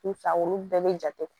N fa olu bɛɛ bɛ jate